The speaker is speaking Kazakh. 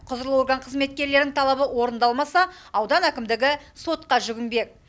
құзырлы орган қызметкерлерінің талабы орындалмаса аудан әкімдігі сотқа жүгінбек